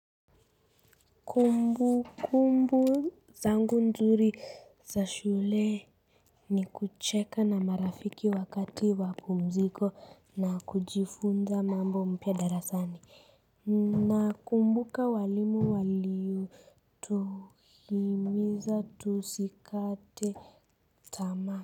Kumbu kumbu zangu nzuri za shule ni kucheka na marafiki wakati wapumziko na kujifunza mambo mpya darasani na kumbuka walimu waliyo tuhimiza tusikate tamaa.